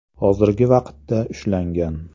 hozirgi vaqtda ushlangan.